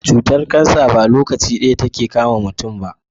Cutar cancer ba lokaci daya take kama muntun ba